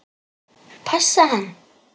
Passa hann?